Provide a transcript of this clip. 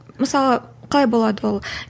мысалы қалай болады ол